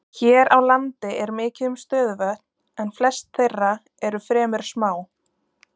Hér á landi er mikið um stöðuvötn en flest þeirra eru fremur smá.